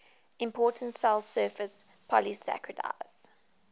important cell surface polysaccharides